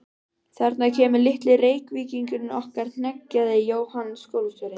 Þarna kemur litli Reykvíkingurinn okkar hneggjaði Jóhann skólastjóri.